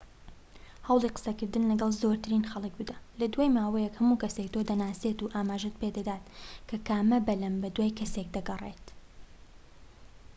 هەوڵی قسەکردن لەگەڵ زۆرترین خەڵک بدە لە دوای ماوەیەک هەموو کەسێک تۆ دەناسێت و ئاماژەت پیدەدات کە کامە بەلەم بەدوای کەسێک دەگەڕێت